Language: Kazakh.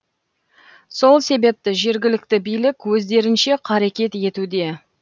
сол себепті жергілікті билік өздерінше қарекет етуде